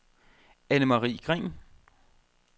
Annemarie Green